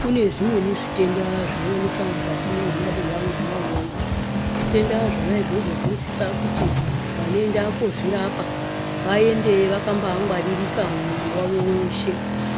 Kune zvimweni zvitenda zvinowanika mukati mwemabuya mwona umwomwo. Zvitenda zvona izvozvo zvinosisa kuti vanoenda kozvirapa. Vaende vakangwaririka mumwiri wavo weshe.